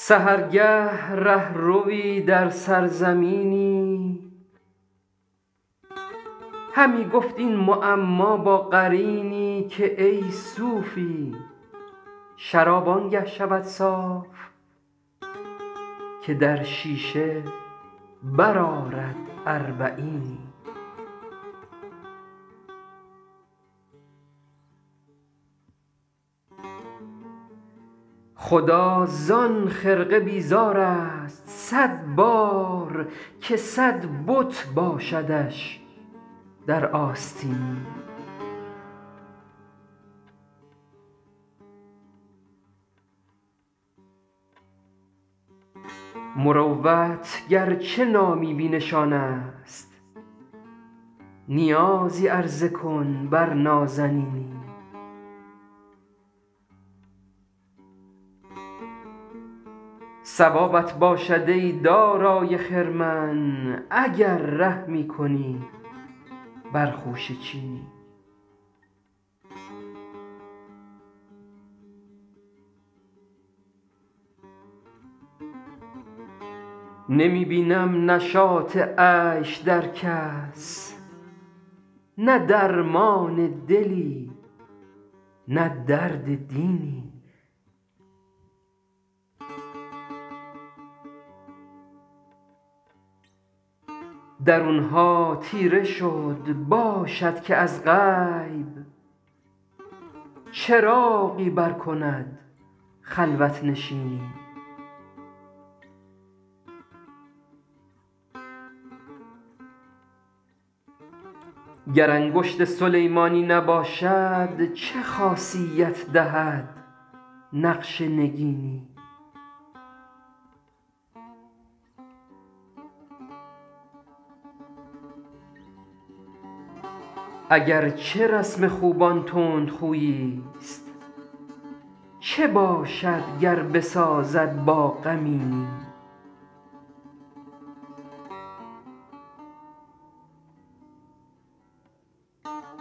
سحرگه ره ‎روی در سرزمینی همی گفت این معما با قرینی که ای صوفی شراب آن گه شود صاف که در شیشه برآرد اربعینی خدا زان خرقه بیزار است صد بار که صد بت باشدش در آستینی مروت گر چه نامی بی نشان است نیازی عرضه کن بر نازنینی ثوابت باشد ای دارای خرمن اگر رحمی کنی بر خوشه چینی نمی بینم نشاط عیش در کس نه درمان دلی نه درد دینی درون ها تیره شد باشد که از غیب چراغی برکند خلوت نشینی گر انگشت سلیمانی نباشد چه خاصیت دهد نقش نگینی اگر چه رسم خوبان تندخویی ست چه باشد گر بسازد با غمینی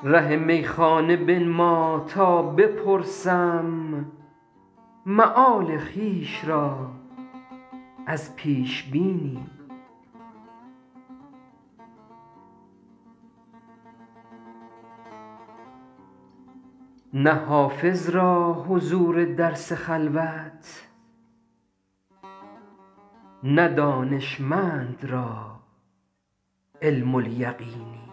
ره میخانه بنما تا بپرسم مآل خویش را از پیش بینی نه حافظ را حضور درس خلوت نه دانشمند را علم الیقینی